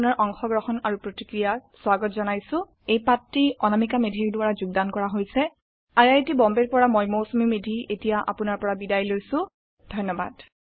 আমি আপোনাৰ অংশগ্ৰহণ আৰু প্ৰতিক্ৰিয়া স্বাগত জনাইছো এই পাঠটি অনামিকা মেধি দ্ৱাৰা যোগদান কৰা হৈছে আই আই টী বম্বে ৰ পৰা মই মৌচুমী মেধী এতিয়া আপুনাৰ পৰা বিদায় লৈছো যোগদানৰ বাবে ধন্যবাদ